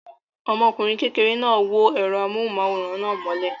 Ọmọkùnrin kékeré náà wó ẹ̀rọ amóhùmáwòhán náà mọ́lẹ̀.